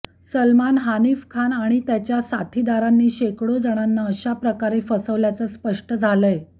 सलमान हानिफ खान आणि त्याच्या साथीदारांनी शेकडो जणांना अशाप्रकारे फसवल्याचं स्पष्ट झालंय